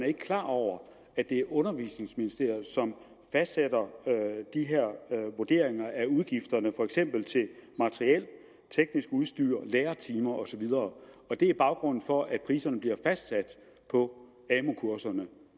ikke klar over at det er undervisningsministeriet som fastsætter de her vurderinger af udgifterne for eksempel til materiel teknisk udstyr lærertimer og så videre det er baggrunden for at priserne bliver fastsat på amu kurserne